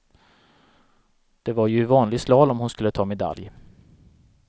Det var ju i vanlig slalom hon skulle ta medalj.